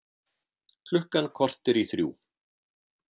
Klukkan korter í þrjú